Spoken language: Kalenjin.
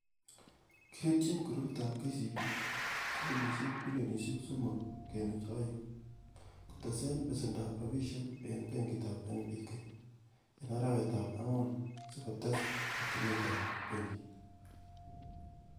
Kirutyi grupitab KCB,silingisiek bilionisiek somok kenuch o'eng, kotesen besendab rabishek en benkitab NBK,en arawetab ang'wan si kotes yetunetab benkit.